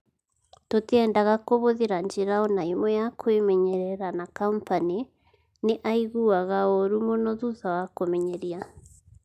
Tũtiendaga kũhũthĩra njĩra o na ĩmwe ya kwĩmenyerera na Kompany nĩ aaiguaga ũũru mũno thutha wa kũmenyeria.